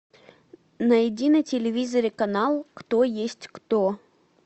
найди на телевизоре канал кто есть кто